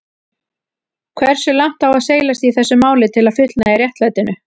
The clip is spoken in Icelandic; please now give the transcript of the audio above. Hversu langt á seilast í þessu máli til að fullnægja réttlætinu?